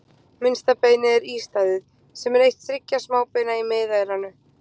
Minnsta beinið er ístaðið, sem er eitt þriggja smábeina í miðeyranu.